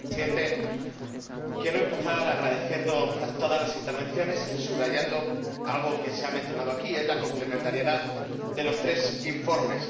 Señor Presidente, quiero empezar agradeciendo todas las intervenciones y subrayando algo que se ha mencionado aquí la complementariedad de los tres informes.